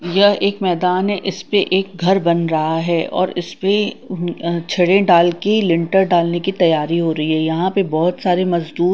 यह एक मैदान है इसपे एक घर बन रहा है और इसपे छड़े डाल के लिटर डालने की तैयारी हो रही है यहां पे बहोत सारे मजदूर--